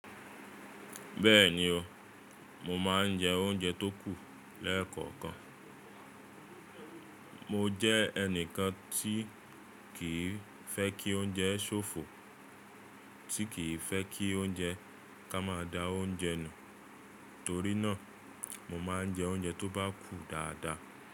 Bẹ́ẹ̀ni o, mo ma ń jẹ́ ounje tó kù lẹ́ẹ̀kọ̀kan. Mo jẹ́ ẹnìkan tí kìí fẹ́ kí ounje ṣòfò, tí kìí fẹ́ kí ounje ká má da ounje nù, torí náà mo ma ń jẹ́ ounje tó bá kù dáadáa.